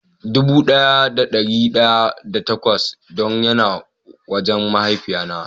Dubu daya da dari daya da takwas don ya na wajen mahaifiya na.